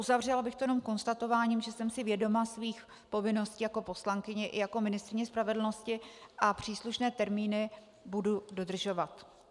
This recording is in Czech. Uzavřela bych to jenom konstatováním, že jsem si vědoma svých povinností jako poslankyně i jako ministryně spravedlnosti a příslušné termíny budu dodržovat.